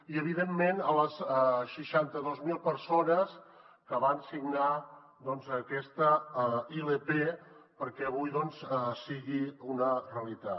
i evidentment a les seixanta dos mil persones que van signar doncs aquesta ilp perquè avui sigui una realitat